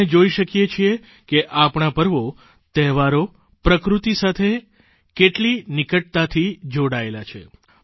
આપણે જોઇ શકીએ છીએ કે આપણા પર્વો તહેવારો પ્રકૃતિ સાથે કેટલી નિકટતાથી જોડાયેલા છે